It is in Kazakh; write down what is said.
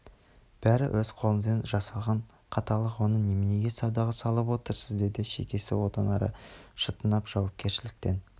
бәрі өз қолыңызбен жасалған қаталықтар оны неменеге саудаға салып отырсыз деді шекесі одан ары шытынап жауапкершіліктен